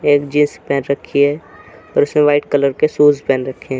एक जीन्स पहन रखी है और उसमें व्हाइट कलर के शूज़ पहन रखे।